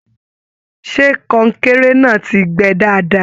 Ṣe kọnkéré náà tí gbẹ́ dáadáa?